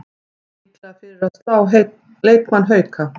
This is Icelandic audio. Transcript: Líklega fyrir að slá leikmann Hauka